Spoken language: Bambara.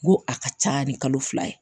N ko a ka ca ni kalo fila ye